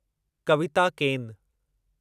कविता केन